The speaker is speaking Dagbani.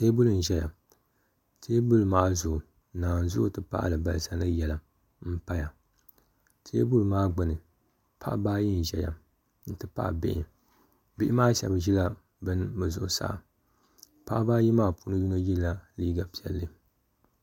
teebuli n-ʒeya teebuli maa zuɣu nanzua n-ti pahi alibalisa ni yelim m-pa ya teebuli maa gbunni paɣaba ayi n-ʒeya n-ti pahi bihi bihi maa shɛba ʒila luɣili zuɣusaa paɣaba ayi maa puuni yino yela liiga piɛlli